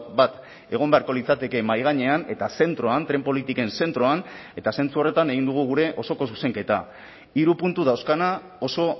bat egon beharko litzateke mahai gainean eta zentroan tren politiken zentroan eta zentzu horretan egin dugu gure osoko zuzenketa hiru puntu dauzkana oso